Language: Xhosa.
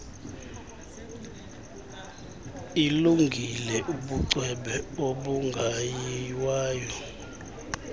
ilungile ubucwebe obungayiwayo